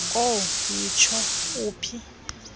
kowu yitsho uphinda